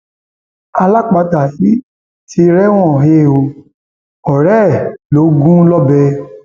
alápatà yìí ti rẹwọn he ọ ọrẹ ẹ lọ gún lọbẹ